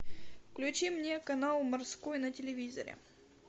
включи мне канал морской на телевизоре